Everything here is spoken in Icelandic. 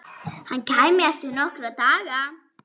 Hann kæmi eftir nokkra daga.